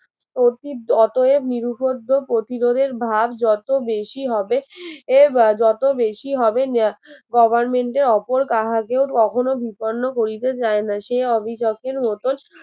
অতীত অতএব নির্বুদ্ধ প্রতিরোধের ভাব যত বেশি হবে এর আহ যত বেশি হবে নে government এর অপর কাকাকেও কখনো বিপন্ন করিতে যায় না সে অভিযোগের মতন